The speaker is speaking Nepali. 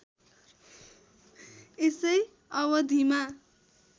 यसै अवधिमा